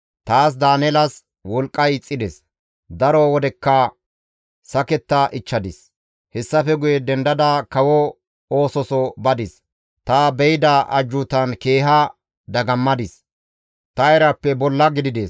Taas Daaneelas wolqqay ixxides; daro wodekka saketta ichchadis; hessafe guye dendada kawo oososo badis; ta be7ida ajjuutan keeha dagammadis; ta erappe bolla gidides.